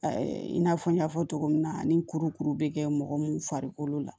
I n'a fɔ n y'a fɔ cogo min na ani kurukuru bɛ kɛ mɔgɔ mun farikolo la